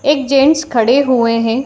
एक जेंट्स खड़े हुए हैं।